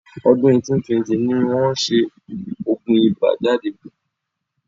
Ọdún 1820 ni wọ́n ṣẹ oògùn ibà jáde..